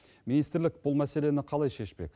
министрлік бұл мәселені қалай шешпек